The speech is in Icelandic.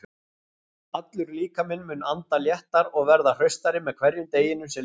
Allur líkaminn mun anda léttar og verða hraustari með hverjum deginum sem líður.